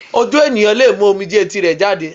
Ojú ènìyàn lè mú omijé tirẹ̀ jáde